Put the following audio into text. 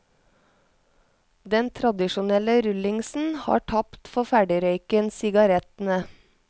Den tradisjonelle rullingsen har tapt for ferdigrøyken, sigarettene.